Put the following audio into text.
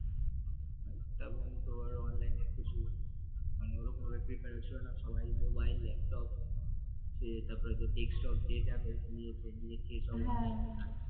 তারপর online ওরকম prepare ছিল না সবাই মোবাইল ল্যাপটপ সে তারপর তোর ডেক্সটপ যে যা পেরেছে নিয়েছে নিয়ে